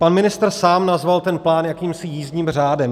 Pan ministr sám nazval ten plán jakýmsi jízdním řádem.